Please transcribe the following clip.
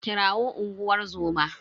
Kirawo unguwar zoma.